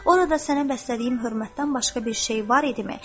Orada sənə bəslədiyim hörmətdən başqa bir şey var idimi?